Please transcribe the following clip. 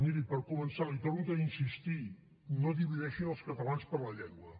miri per començar li hi torno a insistir no divideixin els catalans per la llengua